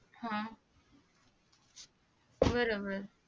हा बरं बरं